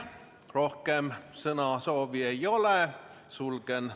Rohkem sõnasoovi ei ole, sulgen ...